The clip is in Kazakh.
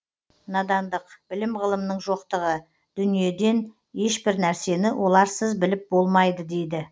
надандық білім ғылымның жоқтығы дүниеден ешбір нәрсені оларсыз біліп болмайды дейді